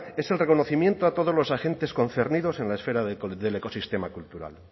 es el reconocimiento a todos los agentes concernidos en la esfera del ecosistema cultural